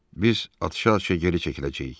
Biz atışa-atışa geri çəkiləcəyik.